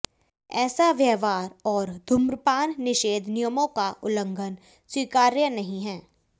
ऐसा व्यवहार और धूम्रपान निषेध नियमों का उल्लंघन स्वीकार्य नहीं है